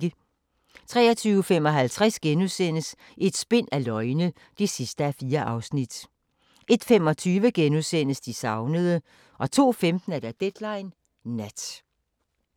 23:55: Et spind af løgne (4:4)* 01:25: De savnede * 02:15: Deadline Nat